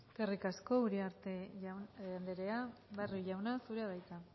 eskerrik asko uriarte andrea barrio jauna zurea da hitza